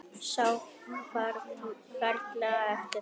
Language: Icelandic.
Sá ferlega eftir því.